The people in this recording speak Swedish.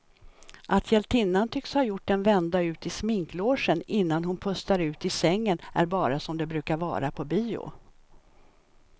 Att hjältinnan tycks ha gjort en vända ut i sminklogen innan hon pustar ut i sängen är bara som det brukar vara på bio.